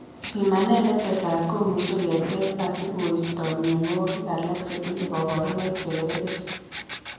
Pimanet netesat komuch keteb asikoisto myonwogik alak chetinye kabarunoik chegergei